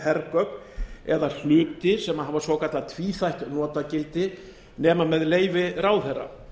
hergögn eða hluti sem hafa svo kallað tvíþætt notagildi nema með leyfi ráðherra